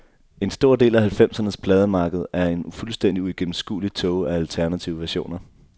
En stor del af halvfemsernes plademarked er en fuldstændig uigennemskuelig tåge af alternative versioner.